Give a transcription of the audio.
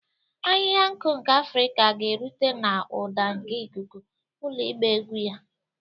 Ahịhịa nku nke Afrika ga-erute n'ụda nke ikuku, ụlọ ịgba egwu ya.